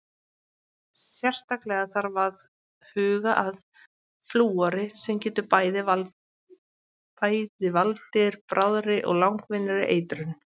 Sérstaklega þarf að huga að flúori sem getur bæði valdir bráðri og langvinnri eitrun.